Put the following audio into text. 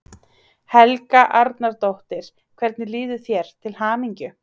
Helga Arnardóttir: Hvernig líður þér, til hamingju?